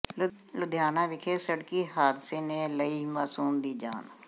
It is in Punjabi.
ਲੁਧਿਆਣਾ ਵਿਖੇ ਸੜਕੀ ਹਾਦਸੇ ਨੇ ਲਈ ਮਾਸੂਮ ਦੀ ਜਾਨ